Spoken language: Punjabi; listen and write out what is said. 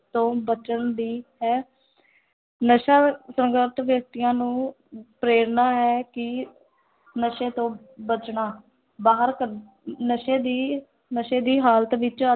ਤੋਂ ਬਚਣ ਦੀ ਹੈ ਨਸ਼ਾ ਵਿਅਕਤੀਆਂ ਨੂੰ ਅਮ ਪ੍ਰੇਰਨਾ ਹੈ ਕਿ ਨਸ਼ੇ ਤੋਂ ਬਚਣਾ, ਬਾਹਰ ਕ ਨਸ਼ੇ ਦੀ ਨਸ਼ੇ ਦੀ ਹਾਲਤ ਵਿੱਚ